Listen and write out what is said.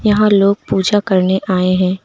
यहां लोग पूजा करने आए हैं।